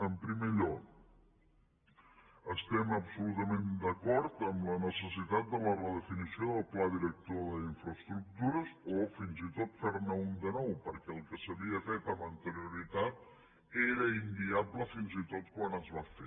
en primer lloc estem absolutament d’acord en la necessitat de la redefinició del pla director d’infraestructures o fins i tot fer ne un de nou perquè el que s’havia fet amb anterioritat era inviable fins i tot quan es va fer